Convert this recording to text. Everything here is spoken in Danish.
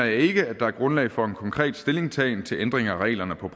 ikke der er grundlag for en konkret stillingtagen til ændringer af reglerne på